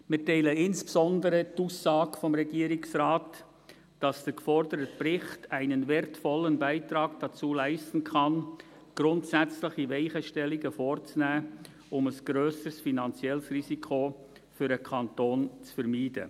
Wir teilen insbesondere die Aussage des Regierungsrates, wonach der geforderte Bericht «einen wertvollen Beitrag dazu leisten kann, grundsätzliche Weichenstellungen vorzunehmen, um ein grösseres finanzielles Risiko für den Kanton zu vermeiden».